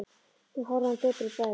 Hún horfði á hann döpur í bragði.